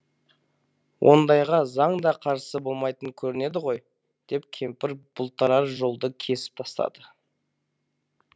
ондайға заң да қарсы болмайтын көрінеді ғой деп кемпір бұлтарар жолды кесіп тастады